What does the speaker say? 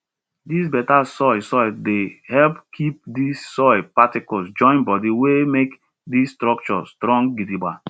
dis better soil soil dey help keep di soil particles join body well make di structure strong gidigba